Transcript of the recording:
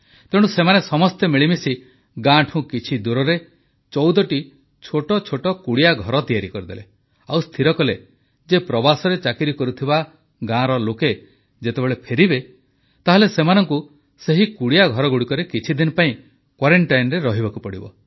ତେଣୁ ସେମାନେ ସମସ୍ତେ ମିଳିମିଶି ଗାଁଠୁ କିଛି ଦୂରରେ ଚଉଦଟି ଛୋଟ ଛୋଟ କୁଡ଼ିଆଘର ତିଆରି କରିଦେଲେ ଆଉ ସ୍ଥିର କଲେ ଯେ ପ୍ରବାସରେ ଚାକିରି କରୁଥିବା ଗାଁ ଲୋକେ ଯେତେବେଳେ ଫେରିବେ ତାହେଲେ ସେମାନଙ୍କୁ ସେହି କୁଡ଼ିଆ ଘରଗୁଡ଼ିକରେ କିଛିଦିନ ପାଇଁ କ୍ୱାରେଂଟାଇନରେ ରହିବାକୁ ହେବ